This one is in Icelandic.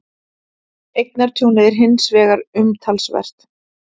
Eignatjónið er hins vegar umtalsvert